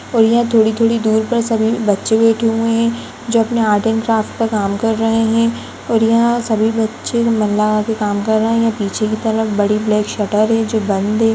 और यहाँ थोड़ी थोड़ी दूर पर सभी बच्चे बैठे हुए हैं जो अपने आर्ट एंड क्राफ्ट का काम कर रहे हैं और यहा सभी बच्चे मन लगा के काम कर रहे हैं पीछे की तरफ बड़ी ब्लैक शटर है जो बंद है।